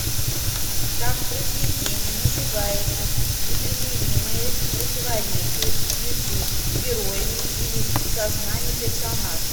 как в произведении называется непримиримое противоречие между героями или в сознании персонажа